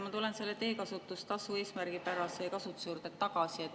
Ma tulen selle teekasutustasu eesmärgipärase kasutuse juurde tagasi.